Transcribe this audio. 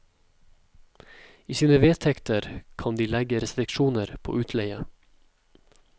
I sine vedtekter kan de legge restriksjoner på utleie.